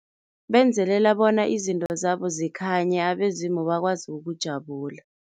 Benzelela bona izinto zabo zikhanye, abezimu bakwazi ukujabula.